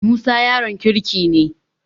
Musa yaron kirki ne.